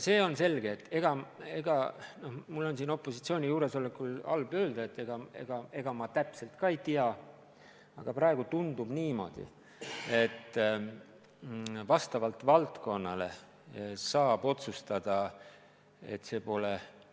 Samas mul on siin opositsiooni juuresolekul halb öelda, et ega ma täpselt ei tea, aga praegu tundub niimoodi, et vastavalt valdkonnale saab otsustada ka põhialuste peale minekut.